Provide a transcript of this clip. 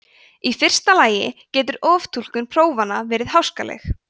í fyrsta lagi getur oftúlkun prófanna verið háskaleg